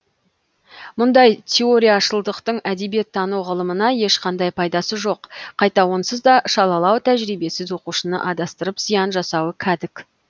мұндай теорияшылдықтың әдебиеттану ғылымына ешқандай пайдасы жоқ қайта онсыз да шалалау тәжірибесіз оқушыны адастырып зиян жасауы кәдік